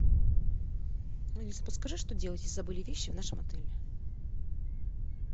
алиса подскажи что делать если забыли вещи в нашем отеле